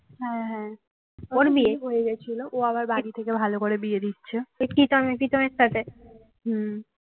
হম